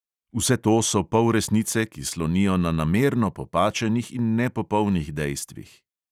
Vse to so polresnice, ki slonijo na namerno popačenih in nepopolnih dejstvih.